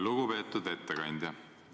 Lugupeetud ettekandja!